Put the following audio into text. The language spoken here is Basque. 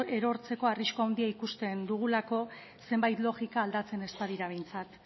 erortzeko arrisku handia ikusten dugulako zenbait logika aldatzen ez badira behintzat